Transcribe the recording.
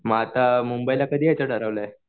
मग आता मुंबईला कधी यायचं ठरवलंय?